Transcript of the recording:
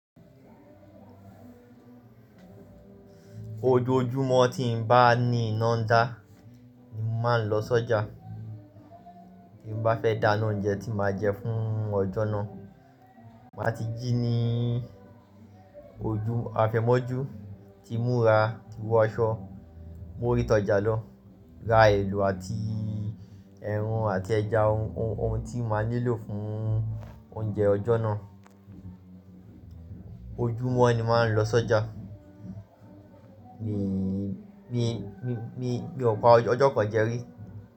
Ojoojúmọ́ tí n bá ní iná ń dá, ni mo màá ń lọ sọ́jà. Tí n bá fẹ́ dána oúnjẹ tí màá jẹ fún ọjọ́ náà. Màá ti jí ní ojú afẹ́mọ́jú, tí múra, ti wọ aṣọ, mú oriti ọ́ja lọ, ra èlo àti ẹran àti ẹja, ohun tí màá nílò fún oúnjẹ ọjọ́ náà. Ojúmọ́ ni màá ń lọ sọ́jà. Mi, mi, mi ò pa ọjọ́ kan jẹ rí.